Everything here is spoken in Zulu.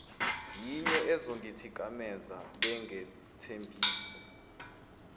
yinye ezongithikameza bengethembise